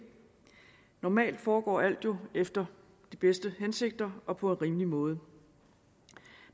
normalt foregår alt jo efter de bedste hensigter og på en rimelig måde